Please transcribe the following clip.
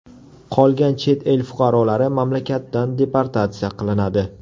Qolgan chet el fuqarolari mamlakatdan deportatsiya qilinadi.